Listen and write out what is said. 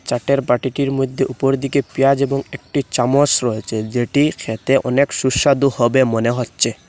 চাটের বাটিকির মইধ্যে উপরদিকে পেঁয়াজ এবং একটি চামচ রয়েচে যেটি খেতে অনেক সুস্বাদু হবে মনে হচ্ছে।